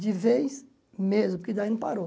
De vez mesmo, que daí não parou.